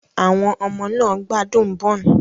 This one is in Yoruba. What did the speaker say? Àwọn ọmọ náà gbádùn bún.